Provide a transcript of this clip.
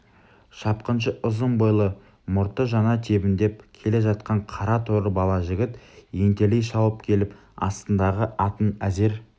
шапқыншы ұзын бойлы мұрты жаңа тебіндеп келе жатқан қара торы бала жігіт ентелей шауып келіп астындағы атын әзер